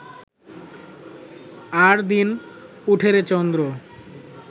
আরদিন উঠেরে চন্দ্র